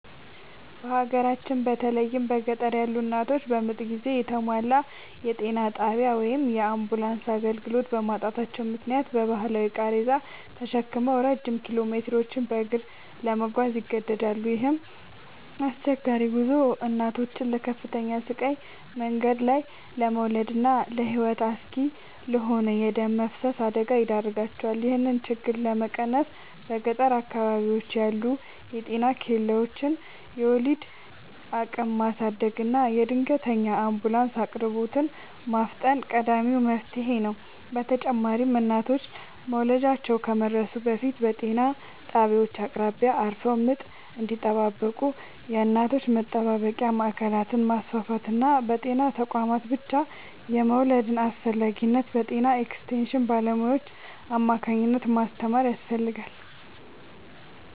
በሀገራችን በተለይም በገጠር ያሉ እናቶች በምጥ ጊዜ የተሟላ የጤና ጣቢያ ወይም የአምቡላንስ አገልግሎት በማጣታቸው ምክንያት በባህላዊ ቃሬዛ ተሸክመው ረጅም ኪሎሜትሮችን በእግር ለመጓዝ ይገደዳሉ። ይህ አስቸጋሪ ጉዞ እናቶችን ለከፍተኛ ስቃይ፣ መንገድ ላይ ለመውለድና ለሕይወት አስጊ ለሆነ የደም መፍሰስ አደጋ ይዳርጋቸዋል። ይህንን ችግር ለመቀነስ በገጠር አካባቢዎች ያሉ የጤና ኬላዎችን የወሊድ አቅም ማሳደግና የድንገተኛ አምቡላንስ አቅርቦትን ማፋጠን ቀዳሚው መፍትሔ ነው። በተጨማሪም እናቶች መውለጃቸው ከመድረሱ በፊት በጤና ጣቢያዎች አቅራቢያ አርፈው ምጥ እንዲጠባበቁ የእናቶች መጠባበቂያ ማዕከላትን ማስፋፋትና በጤና ተቋማት ብቻ የመውለድን አስፈላጊነት በጤና ኤክስቴንሽን ባለሙያዎች አማካኝነት ማስተማር ያስፈልጋል።